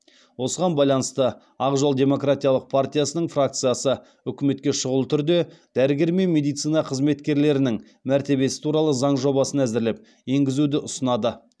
осыған байланысты ақ жол демократиялық партиясының фракциясы үкіметке шұғыл түрде дәрігер мен медицина қызметкерлерінің мәртебесі туралы заң жобасын әзірлеп енгізуді ұсынады